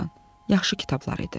Yaxşı kitablar idi."